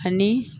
Ani